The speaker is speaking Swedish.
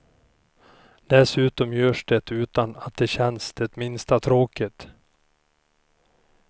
Dessutom görs det utan att det känns det minsta tråkigt.